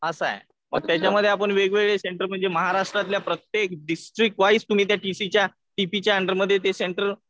असं आहे. मग त्याच्यामध्ये आपण वेगवेगळे सेंटर म्हणजे महाराष्ट्रातल्या प्रत्येक डिस्ट्रिक वाईज तुम्ही त्या टी पीच्या अंडरमध्ये सेंटर